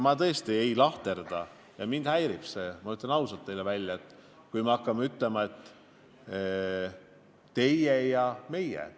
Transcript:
Ma tõesti ei lahterda inimesi ja ma ütlen teile ausalt välja, et mind häirib, kui meil hakatakse teatud kontekstis kasutama sõnu "teie" ja "meie".